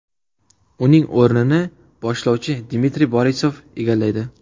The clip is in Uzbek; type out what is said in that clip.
Uning o‘rnini boshlovchi Dmitriy Borisov egallaydi.